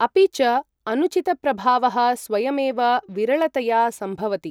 अपि च, अनुचितप्रभावः स्वयमेव विरळतया सम्भवति।